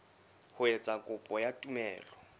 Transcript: ho etsa kopo ya tumello